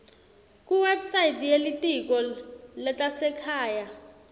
kuwebsite yelitiko letasekhaya